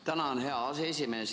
Tänan, hea aseesimees!